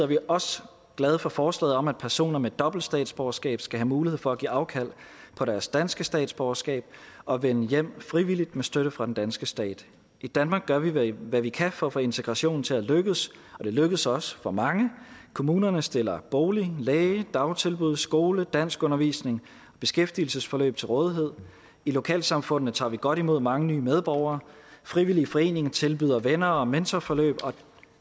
vi også glade for forslaget om at personer med dobbelt statsborgerskab skal have mulighed for at give afkald på deres danske statsborgerskab og vende hjem frivilligt med støtte fra den danske stat i danmark gør vi hvad vi kan for at få integrationen til at lykkes og det lykkes også for mange kommunerne stiller bolig læge dagtilbud skole danskundervisning og beskæftigelsesforløb til rådighed i lokalsamfundene tager vi godt imod mange nye medborgere frivillige foreninger tilbyder venner og mentorforløb